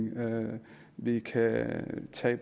vi kan tage